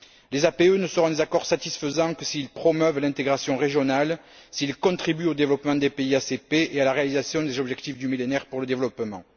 Les APE ne seront des accords satisfaisants que s'ils promeuvent l'intégration régionale, s'ils contribuent au développement des pays ACP et à la réalisation des objectifs du Millénaire pour le développement.